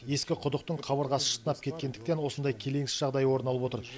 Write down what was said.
ескі құдықтың қабырғасы шытынап кеткендіктен осындай келеңсіз жағдай орын алып отыр